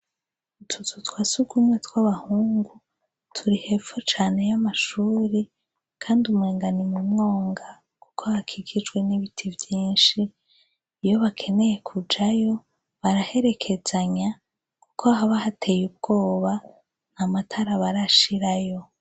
Utuzu twa surwumwe tw'abahungu turi hepfo cane y'amashure kandi umengo ni mu mwonga kuko hakikijwe n'ibiti vyinshi iyo bakeneye kujayo baraherekezanya kuko haba hateye ubwoba nta matara barashirayo.